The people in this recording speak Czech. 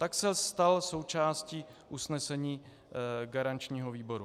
Tak se stal součástí usnesení garančního výboru.